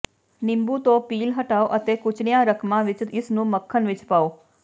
ਨਿੰਬੂ ਤੋਂ ਪੀਲ ਹਟਾਓ ਅਤੇ ਕੁਚਲੀਆਂ ਰਕਮਾਂ ਵਿੱਚ ਇਸਨੂੰ ਮੱਖਣ ਵਿੱਚ ਪਾਓ